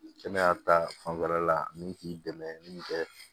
Kɛnɛya ta fanfɛla la min t'i dɛmɛ min fɛ